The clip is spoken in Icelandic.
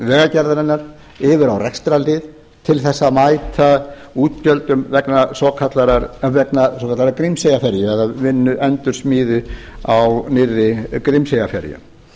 vegagerðarinnar yfir á rekstrarlið til þess að mæta útgjöldum vegna svokallaðrar grímseyjarferju eða endursmíði á nýrri grímseyjarferju